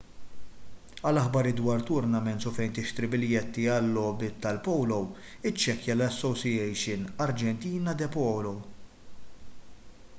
għal aħbarijiet dwar tournaments u fejn tixtri biljetti għal-logħbiet tal-polo iċċekkja l-asociacion argentina de polo